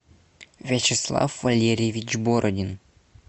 вячеслав валерьевич бородин